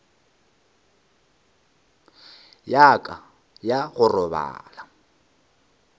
ya ka ya go robala